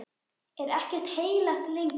Er ekkert heilagt lengur?